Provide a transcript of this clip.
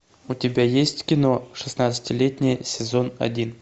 у тебя есть кино шестнадцатилетняя сезон один